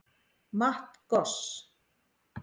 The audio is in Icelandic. Matt Goss